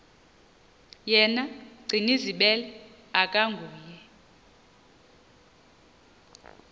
yena gcinizibele akanguye